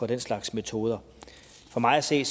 den slags metoder for mig at se